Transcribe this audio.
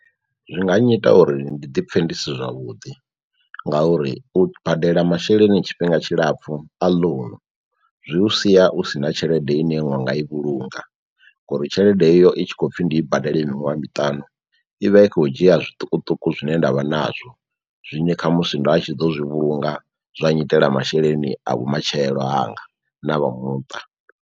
Zwi nga nnyita uri ndi ḓi pfhe ndi si zwavhuḓi ngauri u badela masheleni tshifhinga tshilapfhu a ḽounu zwi u sia u si na tshelede ine iṅwe wa nga i vhulunga ngouri tshelede iyo i tshi khou pfhi ndi i badele miṅwaha miṱanu ivha i khou dzhia zwiṱukuṱuku zwine ndavha nazwo zwiṅwe kha musi nda tshi ḓo zwi vhulunga zwa nnyitela masheleni a vhumatshelo hanga na vha muṱa.